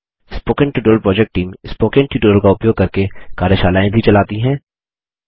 spoken tutorial project team spoken tutorial का उपयोग करके कार्यशालाएँ भी चलाती है